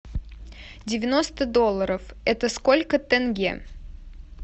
девяносто долларов это сколько тенге